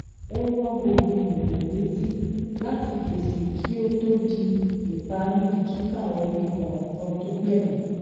ó rán gbogbo ènìyàn létí láti fèsì kí ó tó di ìparí kíkà orí kọọkan tó gbẹyìn